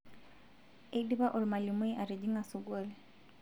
eidipa olmalimui atijing'a sukuul